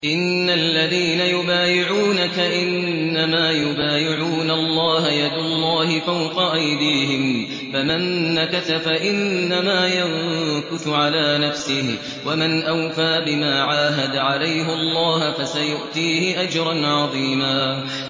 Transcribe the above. إِنَّ الَّذِينَ يُبَايِعُونَكَ إِنَّمَا يُبَايِعُونَ اللَّهَ يَدُ اللَّهِ فَوْقَ أَيْدِيهِمْ ۚ فَمَن نَّكَثَ فَإِنَّمَا يَنكُثُ عَلَىٰ نَفْسِهِ ۖ وَمَنْ أَوْفَىٰ بِمَا عَاهَدَ عَلَيْهُ اللَّهَ فَسَيُؤْتِيهِ أَجْرًا عَظِيمًا